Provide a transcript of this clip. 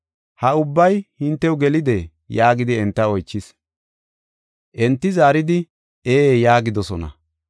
“Ha ubbay hintew gelidee?” yaagidi enta oychis. Enti zaaridi, “Ee” yaagidosona.